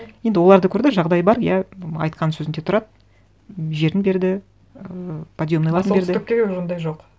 енді олар да көрді жағдай бар иә айтқан сөзінде тұрады жерін берді ыыы подъемныйларын берді а солтүстікте ондай жоқ